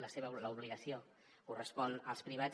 l’obligació correspon als privats